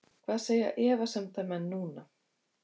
Hvað segja efasemdarmenn núna??